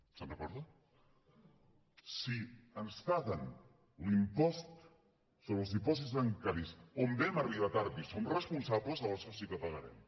se’n recorda si ens paguen l’impost sobre els dipòsits bancaris on vam arribar tard i en som responsables aleshores sí que pagarem